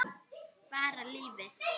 Bara lífið.